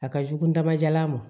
A ka jugu nama jala ma